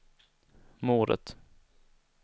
mordet